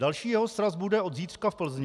Další jeho sraz bude od zítřka v Plzni.